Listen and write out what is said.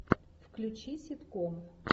включи ситком